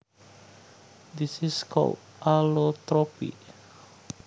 This is called allotropy